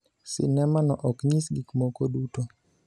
Sinemano ok nyis gik moko duto.